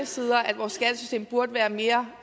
sider at vores skattesystem burde være mere